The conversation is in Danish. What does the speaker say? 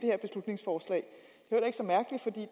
her beslutningsforslag